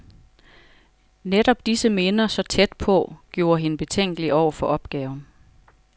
Netop disse minder, så tæt på, gjorde hende betænkelig over for opgaven.